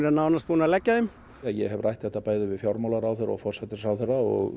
nánast búnir að leggja þeim ég hef rætt þetta bæði við fjármálaráðherra og forsætisráðherra og